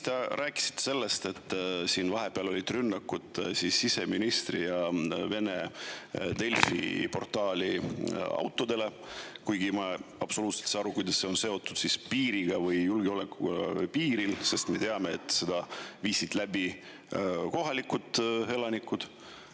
Te rääkisite sellest, et siin vahepeal olid rünnakud siseministri ja vene Delfi auto vastu, kuigi ma absoluutselt ei saa aru, kuidas see on seotud piiriga või julgeolekuga piiril, sest me teame, et selle viisid läbi kohalikud elanikud.